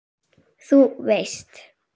Þú veist.